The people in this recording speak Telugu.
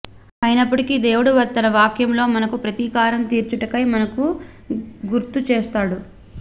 అయినప్పటికీ దేవుడు తన వాక్యములో మనకు ప్రతీకారం తీర్చుటకై మనకు గుర్తుచేస్తాడు